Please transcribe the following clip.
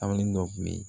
dɔ kun bɛ yen